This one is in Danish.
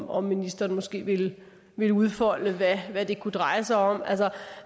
om ministeren måske ville ville udfolde hvad det kunne dreje sig om altså